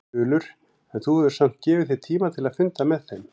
Þulur: En þú hefur samt gefið þér tíma til að funda með þeim?